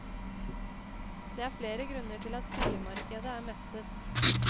Det er flere grunner til at sildemarkedet er mettet.